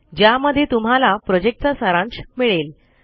ज्यामध्ये तुम्हाला प्रोजेक्ट चा सारांश मिळेल